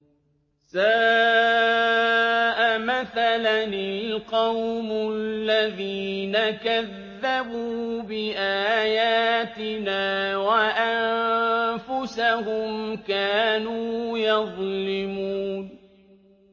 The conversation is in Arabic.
سَاءَ مَثَلًا الْقَوْمُ الَّذِينَ كَذَّبُوا بِآيَاتِنَا وَأَنفُسَهُمْ كَانُوا يَظْلِمُونَ